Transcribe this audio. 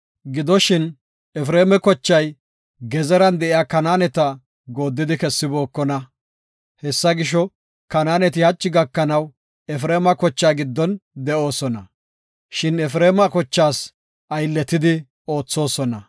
Gidoshin, Efreema kochay Gezeran de7iya Kanaaneta gooddidi kessibookona. Hessa gisho, Kanaaneti hachi gakanaw Efreema kochaa giddon de7oosona. Shin Efreema kochaas aylletidi oothosona.